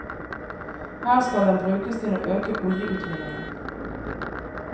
Her skal den brukes til å øke oljeutvinningen.